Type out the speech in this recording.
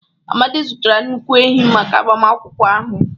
Amadi zụtara nnukwu ehi maka agbamakwụkwọ ahụ.